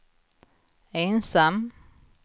ensam